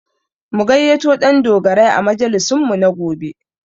Mu gayyato Ɗandogarai a majalisinmu na gobe